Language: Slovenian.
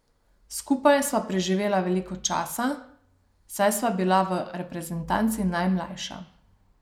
Skupaj sva preživela veliko časa, saj sva bila v reprezentanci najmlajša.